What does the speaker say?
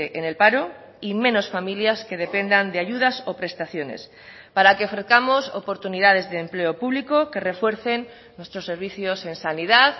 en el paro y menos familias que dependan de ayudas o prestaciones para que ofrezcamos oportunidades de empleo público que refuercen nuestros servicios en sanidad